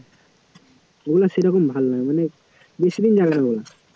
ওগুলা সেরকম ভালো নয়, মানে বেশিদিন যাবে না